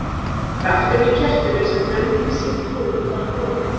Krafturinn í kertinu sem nefndi sig trú var þrotinn.